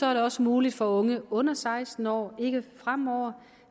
er det også muligt for unge under seksten år ikke fremover